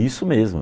Isso mesmo.